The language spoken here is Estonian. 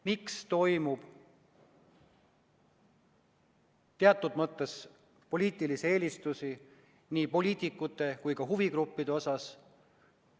Miks tehakse teatud mõttes poliitilisi eelistusi nii poliitikute kui ka huvigruppide osas?